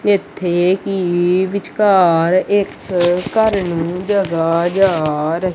ਇਥੇ ਕੀ ਵਿਚਕਾਰ ਇੱਕ ਘਰ ਨੂੰ ਜਗਾ ਜਾ ਰਹੀ।